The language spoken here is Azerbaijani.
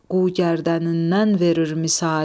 qu gərdənindən verir misali.